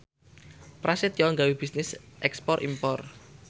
Prasetyo gawe bisnis ekspor impor